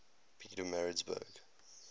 pietermaritzburg